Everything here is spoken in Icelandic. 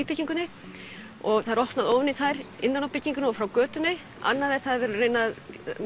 byggingunni og það er opnað ofan í þær innan á byggingunni og frá götunni við erum að reyna að